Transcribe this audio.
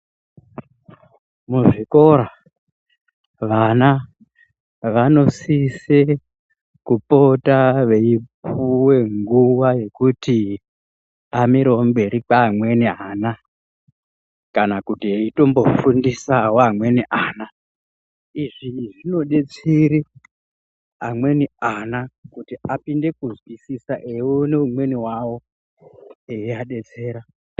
Muzvikora, vana vanosise kupota veipuwe nguwa yekuti amirewo mberi kweamweni ana, kana kuti eitombofundisawo amweni ana. Izvi zvinodetsere amweni ana, kuti apinde kuzwisisa eione umweni wavo eivadetsera.